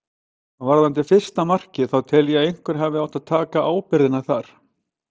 Varðandi fyrsta markið þá tel ég að einhver hafi átt að taka ábyrgðina þar.